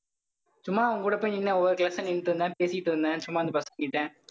சும்மா அவன் கூட போய் நின்னு ஒவ்வொரு class ஆ நின்னுட்டு இருந்தேன். பேசிட்டு இருந்தேன். சும்மா இந்த பசங்க கிட்ட